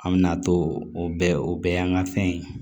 An bɛna to o bɛɛ o bɛɛ y'an ka fɛn ye